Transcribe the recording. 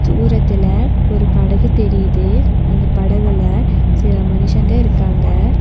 தூரத்துல ஒரு படகு தெரியிது அந்த படகுல சில மனுஷங்க இருக்காங்க.